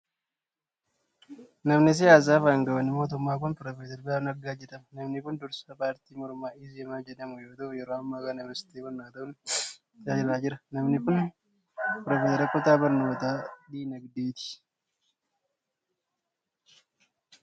Namni siyaasaa fi aangawni mootummaa kun, Piroofeesar Birhaanuu Naggaa jedhama. Namni kun, dursaa paartii mormaa Izemaa jedhamuu yoo ta'u. Yeroo ammaa kana ministeera barnootaa ta'uun tajaajilaa jira. Namni kun, piroofeesara kutaa barnootaa diinagdeeti.